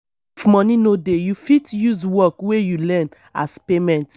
if money no dey you fit use work wey you learn as payment